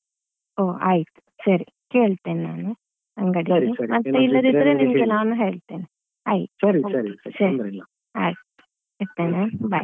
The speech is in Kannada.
ಓ ಆಯ್ತು ಸರಿ ಕೇಳ್ತೇನೆ ನಾನು ಅಂಗಡಿಯಲ್ಲಿ ಇಲ್ಲದಿದ್ರೆ ನಿಮ್ಗೆ ನಾನು ಹೇಳ್ತೇನೆ ಆಯ್ತು ಸರಿ ಆಯ್ತು ಇಡ್ತೇನೆ bye .